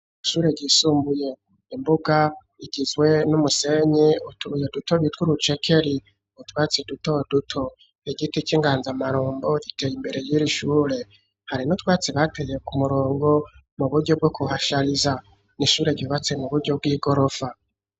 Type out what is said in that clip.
Ishure ryisumbuye; imbuga igizwe n'umusenyi, utubuye duto, bitwa urucekeri, utwatsi duto duto, igiti c'inganzamarumbo, giteye imbere, y'iri ishure; hari n'utwatsi, bateye ku murongo, mu buryo bwo kuhashariza; ni ishure ryubatse, mu buryo bw'igorofa.